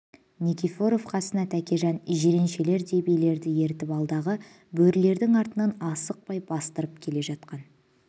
никифоров қасына тәкежан жиреншелердей билерді ертіп алдағы бөрілердің артынан асықпай бастырып келе жатқан